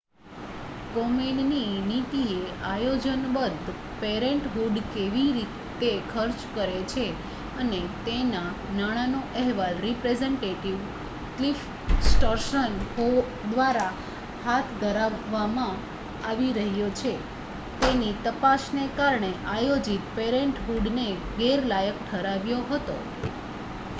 કોમેનની નીતિએ આયોજનબદ્ધ પેરેન્ટહૂડ કેવી રીતે ખર્ચ કરે છે અને તેના નાણાંનો અહેવાલ રિપ્રેઝેન્ટેટિવ ક્લિફ સ્ટર્ન્સ દ્વારા હાથ ધરવામાં આવી રહ્યો છે તેની તપાસને કારણે આયોજિત પેરેન્ટહૂડને ગેરલાયક ઠરાવ્યો હતો